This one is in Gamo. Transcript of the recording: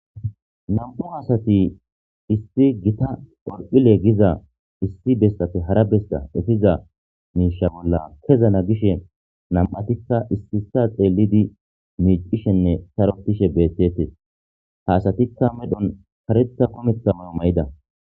Nam'u hasati isti gita orphile giza issi bessafe hara besta efiza miisha bolla kezana gishe nam'atikka issisa xeelidi miicishenne sarotishe bettetes haasatikka medhon kareta kometama ma'ida